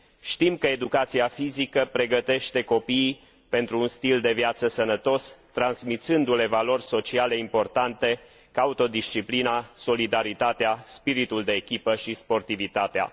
Știm că educația fizică pregătește copiii pentru un stil de viață sănătos, transmițându le valori sociale importante ca autodisciplina, solidaritatea, spiritul de echipă și sportivitatea.